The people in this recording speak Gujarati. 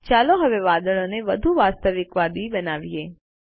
ચાલો હવે વાદળોને વધુ વાસ્તવિકવાદી બનાવીએ